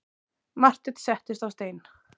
Marteinn settist á stein.